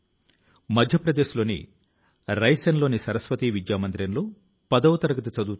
ఈ కార్యక్రమం కోసం రెండు రోజుల తరువాత డిసెంబర్ 28వ తేదీ నుంచి MyGov